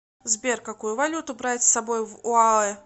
сбер какую валюту брать с собой в оаэ